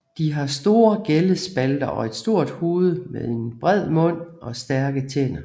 De har store gællespalter og et stort hoved med en bred mund og stærke tænder